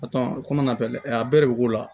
kɔmi a bɛɛ a bɛɛ de be k'o la